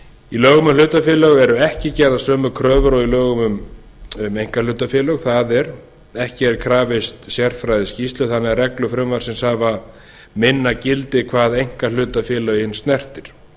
í lögum um hlutafélög eru ekki gerðar sömu kröfur og í lögum um einkahlutafélög það er ekki er krafist sérfræðiskýrslu þannig að reglur frumvarpsins hafa minna gildi hvað einkahlutafélögin snertir